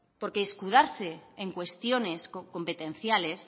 porque escudarse en cuestiones competenciales